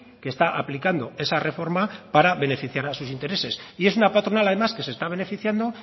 que está aplicando esa reforma para beneficiar a sus intereses y es una patronal además que se está beneficiando